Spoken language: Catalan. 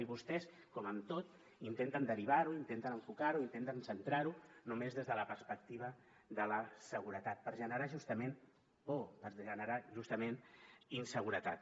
i vostès com amb tot intenten derivar ho intenten enfocar ho intenten centrar ho només des de la perspectiva de la seguretat per generar justament por per generar justament inseguretat